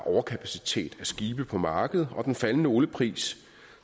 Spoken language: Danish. overkapacitet af skibe på markedet og den faldende oliepris